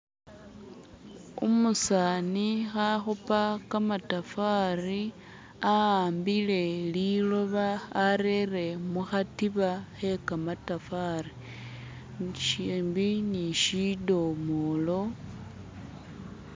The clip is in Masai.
Umusani khakhupa kamatafari a'ambila liloba arere mukhatiba khe kamatafari shimbi ni shidomolo